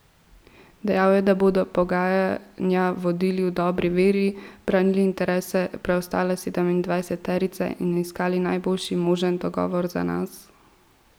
Dejal je, da bodo pogajanja vodili v dobri veri, branili interese preostale sedemindvajseterice in iskali najboljši možen dogovor za nas.